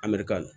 An bɛrika